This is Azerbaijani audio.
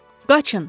Qaçın.